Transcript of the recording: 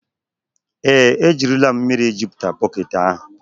Ee, ejirila m mmiri jupụta bọket ahụ.